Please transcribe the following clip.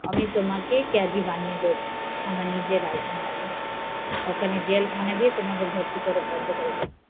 আমি তোমাকে কয়েদি বানিয়ে দেব জেলখানায়, জেলখানায় থেকে যাবে